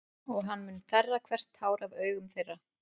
Og hann mun þerra hvert tár af augum þeirra.